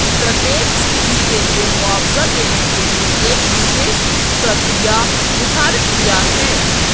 प्रत्येक स्थिति के लिए मुआवजा देने के लिए एक विशेष प्रक्रिया निर्धारित किया है